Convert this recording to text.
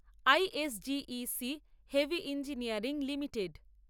ISGEC heavy engineering limited